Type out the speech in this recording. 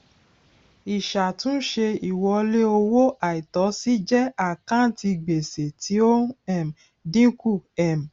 ìṣàtúnṣe ìwọlé owó àìtọsí jẹ àkántì gbèsè tí ó ń um dínkù um